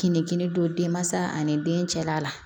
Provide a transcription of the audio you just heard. Kininkini don denmansa ani den cɛla la